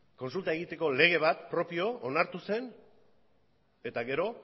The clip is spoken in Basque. kontsulta egiteko lege bat propio onartu zen eta gero